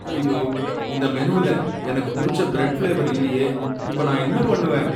ஐயோ! இந்த மெனுவுல எனக்கு பிடிச்ச பிரெட் ஃபிளேவர் இல்லையே, இப்ப நான் என்ன பண்ணுவேன்.